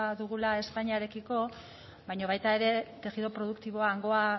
dugula espainiarekiko baina baita ere tejido produktiboa hangoa